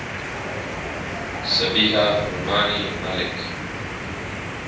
sabiha rumani malik